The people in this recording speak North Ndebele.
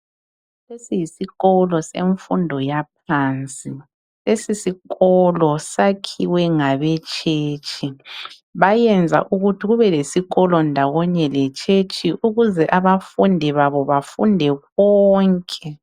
Lesi yisikolo semfundo yaphansi. Lesi sikolo sakhiwe ngabetshetshi. Bayenza ukuthi kubelesikolo ndawonye letshetshi ukuze abafundi babo bafunde konke